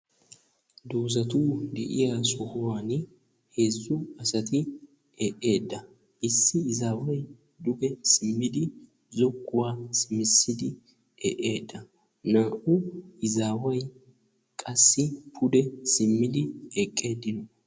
Doozati de'iyo sohuwan heezzu asati eqqida issi izaawayi duge simmidi zokkuwa simmidi eqqida naa'u izaawayi qassi pude simmidi eqqida